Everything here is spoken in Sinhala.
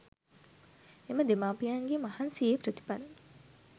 එම දෙමාපියන්ගේ මහන්සියේ ප්‍රතිඵල